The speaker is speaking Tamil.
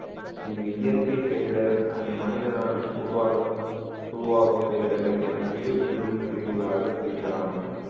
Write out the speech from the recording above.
இது இயற்கை பேரிடர் and மனிதனால் உருவாக உருவாகும் பேரிடர்கள் என இரு பெரும் பிரிவுகளாக பிரிக்கலாம்